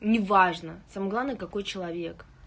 неважно самое главное какой человек